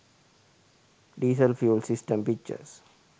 diesel fuel system pictures